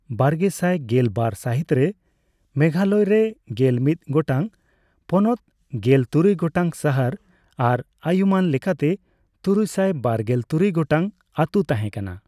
ᱵᱟᱨᱜᱮᱥᱟᱭ ᱜᱮᱞ ᱵᱟᱨ ᱥᱟᱹᱦᱤᱛ ᱨᱮ, ᱢᱮᱜᱷᱟᱞᱚᱭ ᱨᱮ ᱜᱮᱞ ᱢᱤᱫ ᱜᱚᱴᱟᱝ ᱯᱚᱱᱚᱛ, ᱜᱮᱞ ᱛᱩᱨᱩᱭ ᱜᱚᱴᱟᱝ ᱥᱟᱦᱟᱨ ᱟᱨ ᱟᱹᱭᱩᱢᱟᱹᱱ ᱞᱮᱠᱟᱛᱮ ᱛᱩᱨᱩᱭᱥᱟᱭ ᱵᱟᱨᱜᱮᱞ ᱛᱩᱨᱩᱭ ᱜᱚᱴᱟᱝ ᱟᱹᱛᱩ ᱛᱟᱦᱮᱸᱠᱟᱱᱟ ᱾